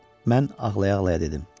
Mən ağlaya-ağlaya dedim: